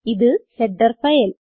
ഇത് header file